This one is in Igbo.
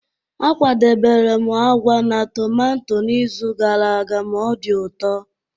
A kwadebere m agwa na tomato n'izu gara aga ma ọ dị ụtọ.